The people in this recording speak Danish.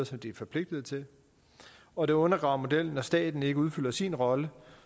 som de er forpligtet til og det undergraver modellen når staten ikke udfylder sin rolle